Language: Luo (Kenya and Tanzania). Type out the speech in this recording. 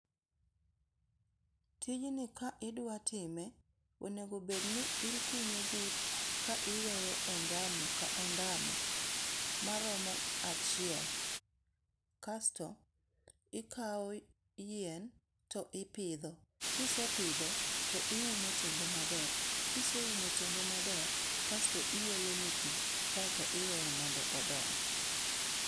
Tijni ka idwa time, onego bed ni ikunyo bur ka iweyo ondamo ka ondamo maromo achiel kasto, ikao yien to ipidho kisepidho to iumo tiende maber. kiseumo tiende maber kasto iolo ne pii kaeto iweye mondo odongi.